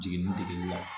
Jiginin degeli la